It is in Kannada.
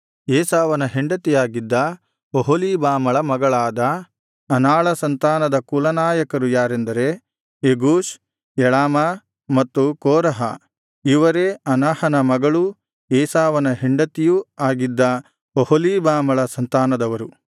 ಏಸಾವನ ಹೆಂಡತಿಯಾಗಿದ್ದ ಒಹೊಲೀಬಾಮಳ ಮಗಳಾದ ಅನಾಳ ಸಂತಾನದ ಕುಲನಾಯಕರು ಯಾರೆಂದರೆ ಯೆಗೂಷ್ ಯಳಾಮ ಮತ್ತು ಕೋರಹ ಇವರೇ ಅನಾಹನ ಮಗಳೂ ಏಸಾವನ ಹೆಂಡತಿಯೂ ಆಗಿದ ಒಹೊಲೀಬಾಮಳ ಸಂತಾನದವರು